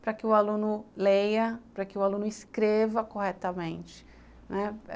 para que o aluno leia, para que o aluno escreva corretamente, né.